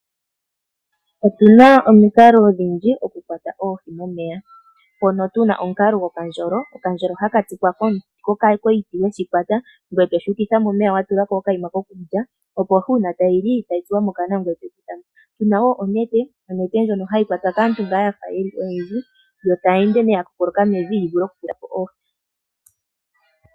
Otu na omikalo odhindji okukwata oohi momeya, mpono tu na omukalo gokandjolo. Okandjolo ohaka tulwa koshiti, e to ka ukitha momeya wa kwata oshiti wa tula ko okakulya, opo shi ohi tayi li yo tayi tsuwa mokana ngoye toka kutha mo. Tu na wo onete, ndjono hayi kwatwa kaantu ya fa oyendji yo tayi ende nduno tayi kookoloka momeya yi vule okukwata oohi.